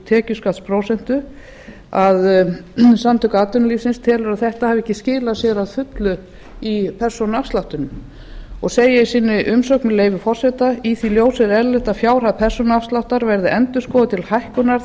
tekjuskattsprósentu að samtök atvinnulífsins telja að þetta hafi ekki skilað sér að fullu í persónuafslættinum þau segja í sinni umsögn með leyfi forseta í því ljósi er eðlilegt að fjárhæð persónuafsláttar verði endurskoðuð til hækkunar